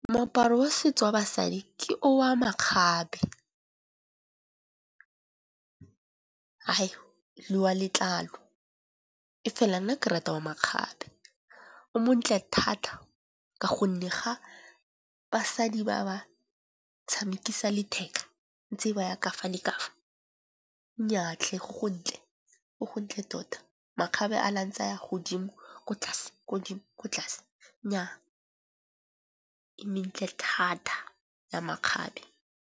Moaparo wa setso wa basadi ke o a makgabe le wa letlalo. E fela nna ke rata wa makgabe o montle thata ka gonne ga basadi ba tshamekisa letheka ntse ba ya ka fa leka fa. Nnyaa tlhe go go ntle go go ntle tota makgabe a le a ntse a ya godimo, ko tlase ko godimo ko tlase, nnyaa e mentle thata ya makgabe.